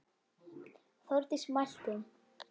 Þórdís mælti